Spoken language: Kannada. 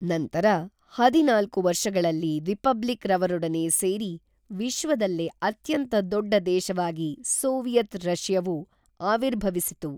ನಂತರ ಹದಿನಾಲ್ಕು ವರ್ಷಗಳಲ್ಲಿ ರಿಪಬ್ಲಿಕ್‌ ರವರೊಡನೆ ಸೇರಿ ವಿಶ್ವದಲ್ಲೇ ಅತ್ಯಂತ ದೊಡ್ಡ ದೇಶವಾಗಿ ಸೋವಿಯತ್‌ ರಷ್ಯವು ಆವಿರ್ಭವಿಸಿತು